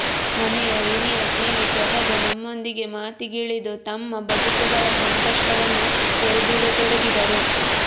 ಮನೆಯ ಹಿರಿಯ ಜೀವಿ ಜಲಜ ನಮ್ಮೊಂದಿಗೆ ಮಾತಿಗಿಳಿದು ತಮ್ಮ ಬದುಕುಗಳ ಸಂಕಷ್ಟವನ್ನು ತೆರೆದಿಡತೊಡಗಿದರು